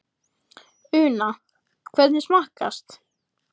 Una, hvernig smakkast?